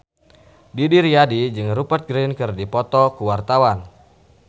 Didi Riyadi jeung Rupert Grin keur dipoto ku wartawan